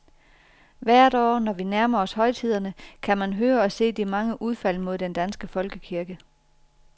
Hvert år, når vi nærmer os højtiderne, kan man høre og se de mange udfald mod den danske folkekirke.